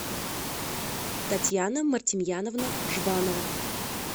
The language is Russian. татьяна мартемьяновна жбанова